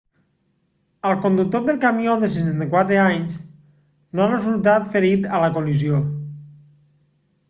el conductor del camió de 64 anys no ha resultat ferit a la col·lisió